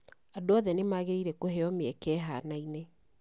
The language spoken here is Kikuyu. Andũ othe nĩ magĩrĩire kũheo mĩeke ĩhaanaine.